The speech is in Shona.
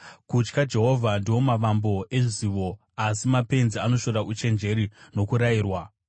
Kutya Jehovha ndiwo mavambo ezivo, asi mapenzi anoshora uchenjeri nokurayirwa.